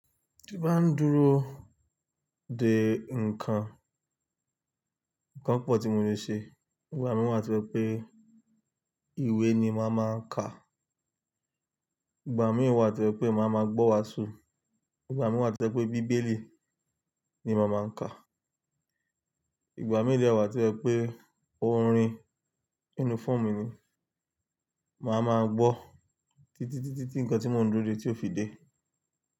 Tí n bá ń dúró de nǹkan, nǹkan pọ̀ tí mo le ṣe. Ìgbà mìíràn wà tí o jẹ pé ìwé ni màá máa ka. Ìgbà mìíràn wà tí o jẹ pé màá máa gbọ́ iwàásù. Igba miran wa ti o je wipe bibeli ni maa ma ka. Ìgbà mìíràn wà tí ẹ pé orin uniform mi ni. Màá máa gbọ́ títí, títí, ti nǹkan tí mò ń dúró de tí ó fi dé.